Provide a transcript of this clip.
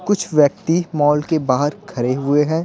कुछ व्यक्ति मॉल के बाहर खड़े हुए हैं।